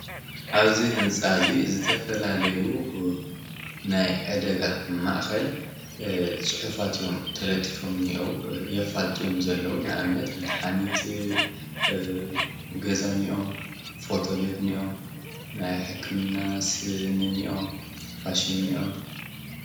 ኣብዚ ህንፃ እዚ ዝተፈላለዩ እ ናይ ዕደጋ ማእከል እ ፅሑፋት እዮም ተለጢፎምእኒኦዉ የፋልጡ እዮም ዘለዉ፡፡ ንኣብነት መድሓኒት እ ገዛ ኒአዉ፣ ፎቶ ቤት እኒኦዉ ፣ናይ ሕክምና ስኒ እኒኦዉ፣ ማሽን እኒኦዉ፡፡